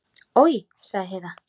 Oj, sagði Heiða.